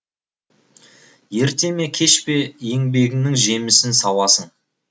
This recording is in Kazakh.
ерте ме кеш пе еңбегіңнің жемісін сауасың